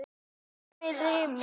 Ég hlæ með sjálfri mér.